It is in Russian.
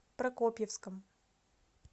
прокопьевском